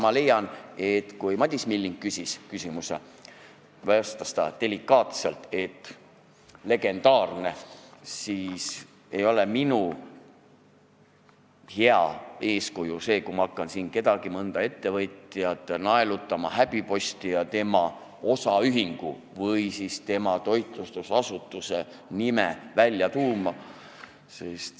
Ma leian, et kui Madis Milling küsis, nimetades delikaatselt legende, siis mina ei oleks hea eeskuju, kui ma hakkaksin siin mõnda ettevõtjat häbiposti naelutama ja tema osaühingu või toitlustusasutuse nime välja tooma.